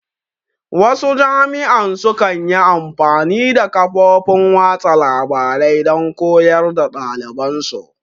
Wasu jami'an su kan yi amfani da kafofin watsa labarai don koyar da ɗaliban su